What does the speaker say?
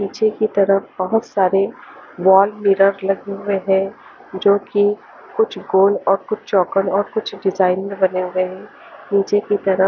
पीछे की तरफ बहोत सारे वॉल मिरर लगे हुए है जोकि कुछ गोल और कुछ चौकोर और कुछ डिजाइन बने हुए है नीचे की तरफ--